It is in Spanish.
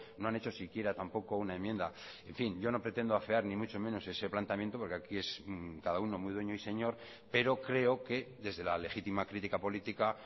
no han hecho siquiera tampoco una enmienda en fin yo no pretendo afear ni mucho menos ese planteamiento porque aquí es cada uno muy dueño y señor pero creo que desde la legítima crítica política